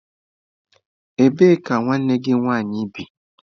Ebee ka nwanne gị nwaanyị bi?